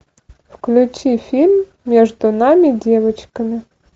включи фильм между нами девочками